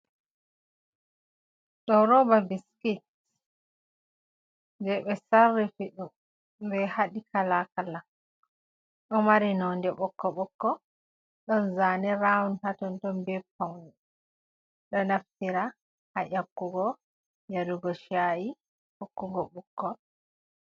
Ɗo roba biskits je ɓe sarrifi ɗum ɓe haɗi kalakala ɗo mari nonde ɓokko ɓokko don zane rawun hatonton be paune. Ɗo naffira ha ƴakkugo, yarugo shayi, hokkugo bikkoi.